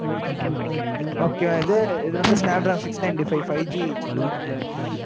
okay வா இது? இது வந்து, six ninety five, five G set ல இருக்கு, mam